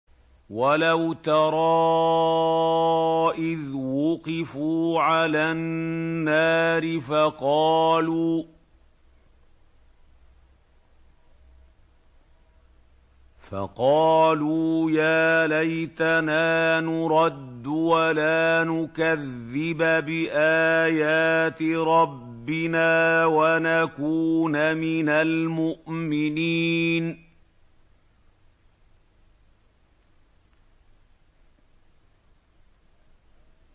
وَلَوْ تَرَىٰ إِذْ وُقِفُوا عَلَى النَّارِ فَقَالُوا يَا لَيْتَنَا نُرَدُّ وَلَا نُكَذِّبَ بِآيَاتِ رَبِّنَا وَنَكُونَ مِنَ الْمُؤْمِنِينَ